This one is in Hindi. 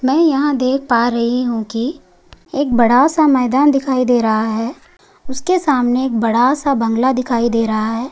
मै यहाँ पे देख पा रही हूँ की एक बड़ा सा मैदान दिखाई दे रहा है उसके सामने एक बड़ा सा बंगला दिखाई दे रहा है।